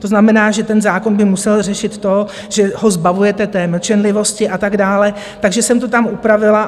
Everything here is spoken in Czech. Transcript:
To znamená, že ten zákon by musel řešit to, že ho zbavujete té mlčenlivosti a tak dále, takže jsem to tam upravila.